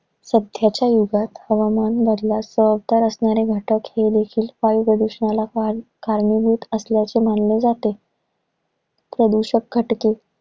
सध्याच्या युगात हवामान बदलास जबाबदार असणारे घटक हे देखील वायू प्रदूषणाला फार कारणीभूत असल्याचं मानलं जातंय. प्रदूषक घटकेत